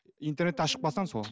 интернетті ашып қалсаң сол